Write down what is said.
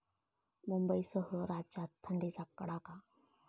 मुंबईसह राज्यात थंडीचा कडाका